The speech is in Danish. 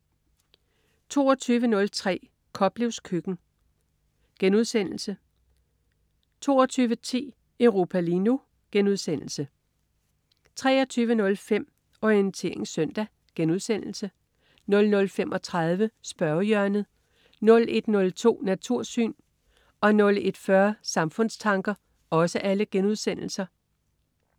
22.03 Koplevs køkken* 22.10 Europa lige nu* 23.05 Orientering søndag* 00.35 Spørgehjørnet* 01.02 Natursyn* 01.40 Samfundstanker*